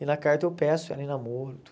E na carta eu peço ela em namoro e tudo.